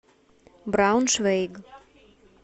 брауншвейг